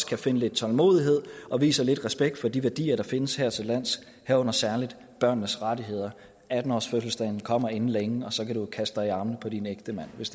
kan finde lidt tålmodighed og vise lidt respekt for de værdier der findes hertillands herunder særlig børnenes rettigheder atten årsfødselsdagen kommer inden længe og så kan du kaste dig i armene på din ægtemand hvis